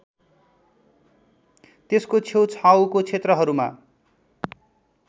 त्यसको छेउछाउको क्षेत्रहरूमा